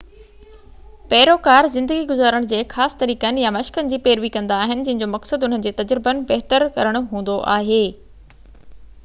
پيروڪار زِندگي گُذارڻ جي خاص طريقن يا مشقن جي پيروي ڪندا آهن جن جو مقصد اُنهن جي تَجربن بهتر ڪرڻ هوندو آهي